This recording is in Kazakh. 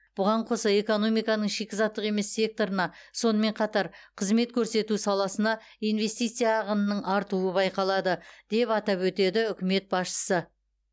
бұған қоса экономиканың шикізаттық емес секторына сонымен қатар қызмет көрсету саласына инвестиция ағынының артуы байқалады деп атап өтеді үкімет басшысы